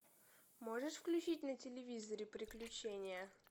можешь включить на телевизоре приключения